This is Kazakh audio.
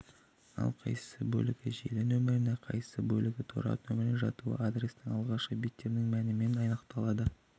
ал қайсы бөлігі желі нөміріне қайсы бөлігі торап нөміріне жатуы адрестің алғашқы биттерінің мәнімен анықталады